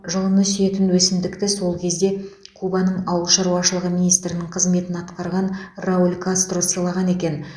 жылыны сүйетін өсімдікті сол кезде кубаның ауыл шаруашылығы министрінің қызметін атқарған рауль кастро сыйлаған екен